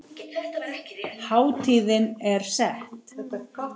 Hátíðin er sett.